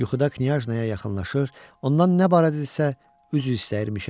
Yuxuda knyajnaya yaxınlaşır, ondan nə barədə isə üzr istəyirmişəm.